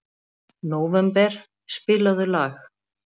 Nóvember, spilaðu lag.